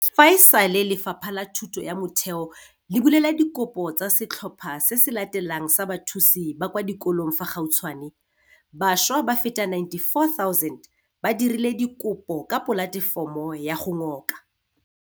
Fa e sale Lefapha la Thuto ya Motheo le bulela dikopo tsa setlhopha se se latelang sa bathusi ba kwa di kolong fa gautshwane, bašwa ba feta 94 000 ba dirile dikopo ka polatefomo ya go ngoka